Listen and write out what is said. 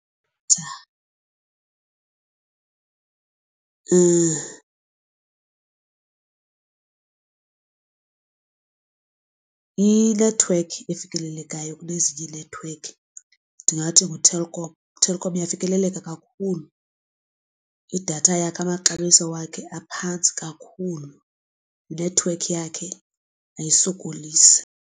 Inethiwekhi efikelelekayo kunezinye ii-network ndingathi nguTelkom. UTelkom uyafikeleleka kakhulu idatha yakhe amaxabiso wakhe aphantsi kakhulu inethiwekhi yakhe ayisokolisi.